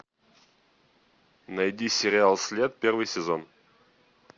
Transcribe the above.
найди сериал след первый сезон